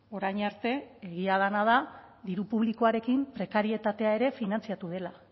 orain arte egia dena da diru publikoarekin prekarietatea ere finantziatu dela